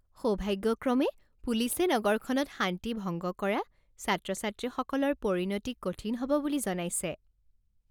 সৌভাগ্যক্ৰমে পুলিচে নগৰখনত শান্তি ভংগ কৰা ছাত্ৰ ছাত্ৰীসকলৰ পৰিণতি কঠিন হ'ব বুলি জনাইছে।